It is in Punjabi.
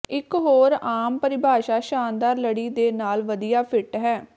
ਇੱਕ ਹੋਰ ਆਮ ਪਰਿਭਾਸ਼ਾ ਸ਼ਾਨਦਾਰ ਲੜੀ ਦੇ ਨਾਲ ਵਧੀਆ ਫਿੱਟ ਹੈ